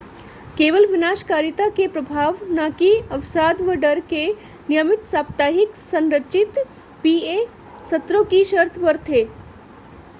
केवल विनाशकारिता के प्रभाव न कि अवसाद व डर के नियमित साप्ताहिक संरचित pa सत्रों की शर्त पर थे